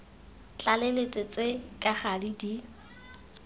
tlaleletso tse ka gale di